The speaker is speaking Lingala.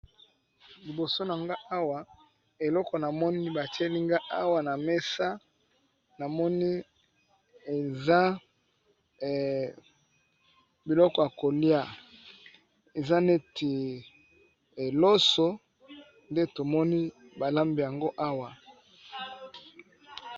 Liboso na nga awa eloko namoni batiyelinga awa na mesa namoni eza biloko ya kolia eza neti loso nde tomoni balambi yango awa.